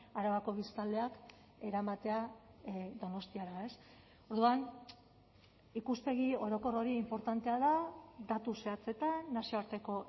arabako biztanleak eramatea donostiara orduan ikuspegi orokor hori inportantea da datu zehatzetan nazioarteko